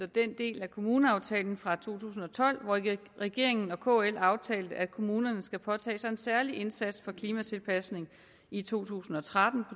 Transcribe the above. den del af kommuneaftalen fra to tusind og tolv hvor regeringen regeringen og kl aftalte at kommunerne skal påtage sig en særlig indsats for klimatilpasning i to tusind og tretten